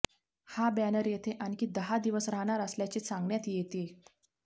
हा बॅनर येथे आणखी दहा दिवस राहणार असल्याचे सांगण्यात येतेय